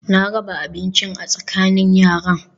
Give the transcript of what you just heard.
Na raba abincin a tsakanin yaran